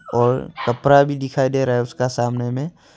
और कपड़ा भी दिखाई दे रहा है उसका सामने में।